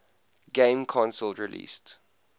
game console released